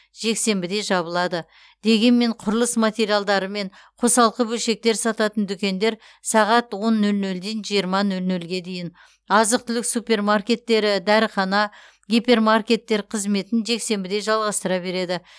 жексенбіде жабылады дегенмен құрылыс материалдары мен қосалқы бөлшектер сататын дүкендер сағат он нөл нөлден жиырма нөл нөлге дейін азық түлік супермаркеттері дәріхана гипермаркеттер қызметін жексенбіде жалғастыра береді